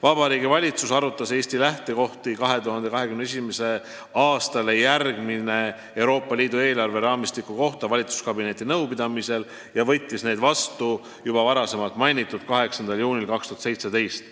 " Vabariigi Valitsus arutas Eesti lähtekohti 2021. aastale järgneva Euroopa Liidu eelarveraamistiku kohta valitsuskabineti nõupidamisel ja võttis need vastu juba mainitud 8. juunil 2017.